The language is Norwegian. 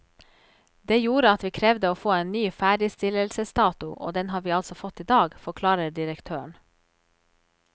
Det gjorde at vi krevde å få en ny ferdigstillelsesdato, og den har vi altså fått i dag, forklarer direktøren.